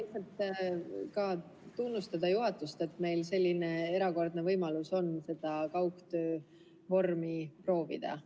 Ma tahan tunnustada juhatust, et meil on selline erakordne võimalus kaugtöövormi proovida.